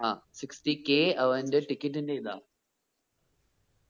ആ sixty K അവന്റെ ticket ന്റെ ഇത